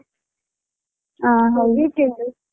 ಹ ಹೌದು